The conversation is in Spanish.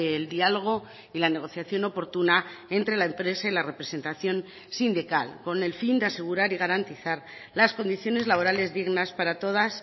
el diálogo y la negociación oportuna entre la empresa y la representación sindical con el fin de asegurar y garantizar las condiciones laborales dignas para todas